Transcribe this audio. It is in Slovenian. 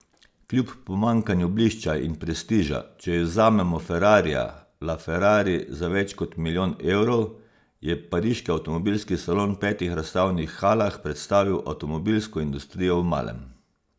Kljub pomanjkanju blišča in prestiža, če izvzamemo ferrarija la ferrari za več kot milijon evrov, je pariški avtomobilski salon v petih razstavnih halah predstavil avtomobilsko industrijo v malem.